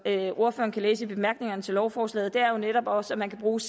ordføreren kan læse i bemærkningerne til lovforslaget er jo netop også at man kan bruge